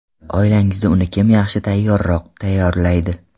Oilangizda uni kim yaxshi tayyorroq tayyorlaydi?